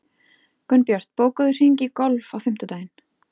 Gunnbjört, bókaðu hring í golf á fimmtudaginn.